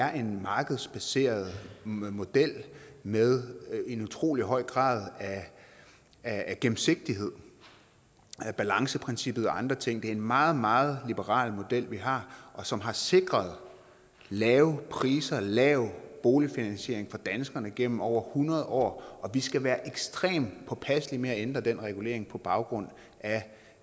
er en markedsbaseret model med en utrolig høj grad af gennemsigtighed balanceprincippet og andre ting det er en meget meget liberal model vi har som har sikret lave priser lav boligfinansiering for danskerne igennem over hundrede år og vi skal være ekstremt påpasselige med at ændre den regulering på baggrund af